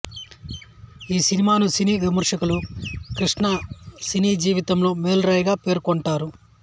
ఈ సినిమాను సినీ విమర్శకులు కృష్ణ సినీ జీవితంలో మైలురాయిగా పేర్కొంటూంటారు